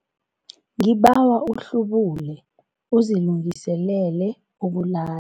Ngibawa uhlubule uzilungiselele ukulala.